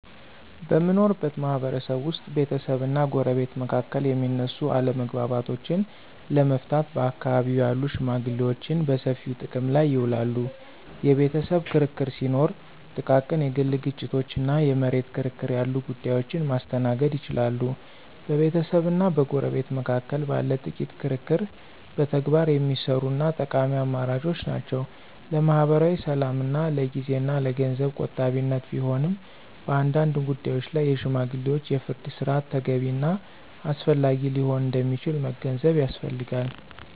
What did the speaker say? በምንኖርበት ማህበረሰብ ውስጥ ቤተሰብና ጎረቤት መካከል የሚነሱ አለመግባባቶችን ለመፍታት በአካባቢው ያሉ ሽመግሌዎችን በሰፊው ጥቅም ላይ ይውላሉ። የቤተሰብ ክርክር ሲኖር፣ ጥቃቅን የግል ግጭቶች እና የመሬት ክርክር ያሉ ጉዳዮችን ማስተናገድ ይችላሉ። በቤተሰብና በጎረቤት መካከል ባለ ጥቂት ክርክር በተግባር የሚሰሩ እና ጠቃሚ አማራጮች ናቸው። ለማኅበራዊ ሰላምና ለጊዜ እና ለገንዘብ ቆጣቢነት ቢሆንም፣ በአንዳንድ ጉዳዮች ላይ የሽማግሌዎች የፍርድ ሥርዓት ተገቢ እና አስፈላጊ ሊሆን እንደሚችል መገንዘብ ያስፈልጋል።